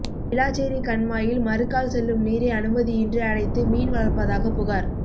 விளாச்சேரி கண்மாயில் மறுகால் செல்லும் நீரை அனுமதியின்றி அடைத்து மீன் வளா்ப்பதாக புகாா்